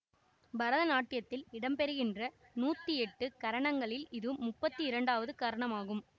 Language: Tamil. பரதநாட்டியத்தில் இடம்பெறுகின்ற நூற்றியெட்டு கரணங்களில் இது முப்பத்து இரண்டாவது கரணமாகும்